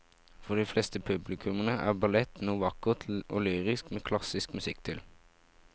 For de fleste publikummere er ballett noe vakkert og lyrisk med klassisk musikk til.